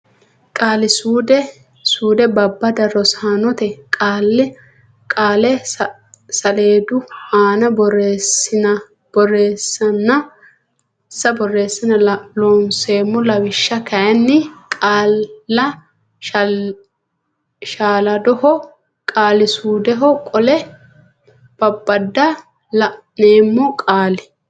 Qaali suude Babbada Rosaanote qaale saleedu aana borressinsa Looseemmo Lawishsha kayinni qaalla shaaladoho qaali suudeho qole babbada la neemmo Qaali.